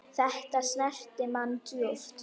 Þetta snerti mann djúpt.